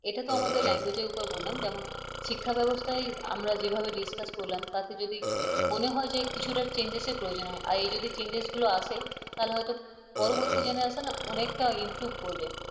এটা তো আমাদের language এর উপর বললাম যেমন শিক্ষা ব্যবস্থায় আমরা যেভাবে discuss করলাম তাতে যদি মনে হয় যে কিছুটা changes র প্রয়োজন আছে আর এই যদি changes আসে তাহলে হয়তো পরবর্তী generation অনেকটা improve করবে।